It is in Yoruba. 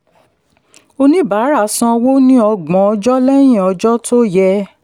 oníbàárà sanwó ní ọgbọ̀n ọjọ́ lẹ́yìn ọjọ́ tó yẹ.